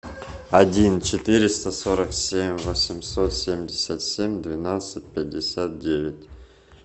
один четыреста сорок семь восемьсот семьдесят семь двенадцать пятьдесят девять